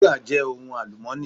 Wúrà jẹ́ ohun àlùmọ́ọ́nì.